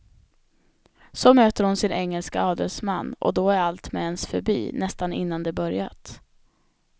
Så möter hon sin engelske adelsman, och då är allt med ens förbi nästan innan det börjat.